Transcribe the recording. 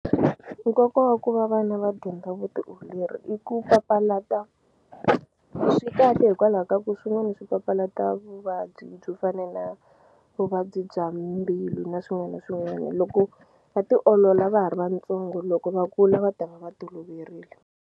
Nkoka wa ku va vana va dyondza vutiolori i ku papalata swi kahle hikwalaho ka ku swin'wani swi papalata vuvabyi byo fana na vuvabyi bya mbilu na swin'wani na swin'wani loko va tiolola va ha ri vantsongo loko va kula va ta va va toloverile.